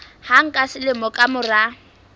hang ka selemo ka mora